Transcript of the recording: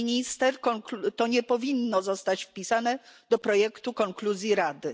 Pani Minister to nie powinno zostać wpisane do projektu konkluzji Rady.